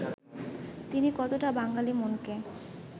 তিনি কতটা বাঙালি মনকে